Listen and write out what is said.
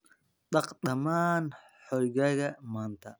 Dhaq dhammaan hoygaaga maanta.